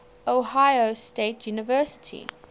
ohio state university